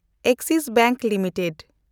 Axis bank limited